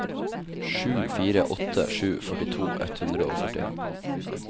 sju fire åtte sju førtito ett hundre og førtien